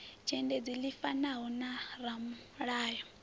dzhendedzi ḽi fanaho na ramulayo